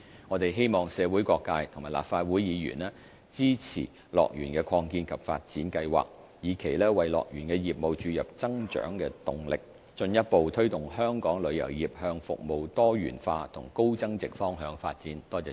我們希望社會各界和立法會議員支持樂園的擴建及發展計劃，以期為樂園業務注入增長動力，進一步推動香港旅遊業向服務多元化和高增值方向發展。